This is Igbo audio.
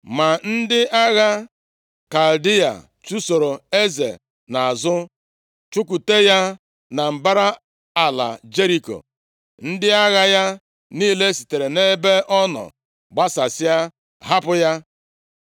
Ma ndị agha Kaldịa chụsoro eze nʼazụ, chụkwute ya na mbara ala Jeriko. Ndị agha ya niile sitere nʼebe ọ nọ gbasasịa, hapụ ya,